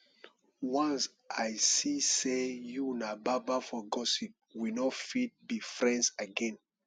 once i see sey you na baba for gossip we no fit be friends again